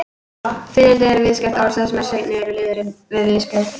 Fiðrildi er viðskeytt orð, þar sem seinni liðurinn er viðskeytið-ildi.